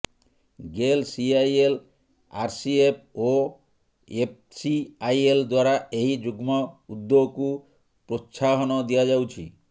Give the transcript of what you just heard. Gayle CIL RCF ଓ ଏଫ୍ସିଆଇଏଲ୍ ଦ୍ୱାରା ଏହି ଯୁଗ୍ମ ଉଦ୍ୟୋକୁ ପ୍ରୋତ୍ସାହନ ଦିଆଯାଉଛି